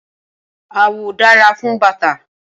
Awọ dára fún bàtà.